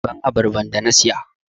Give me the pineapple i bought!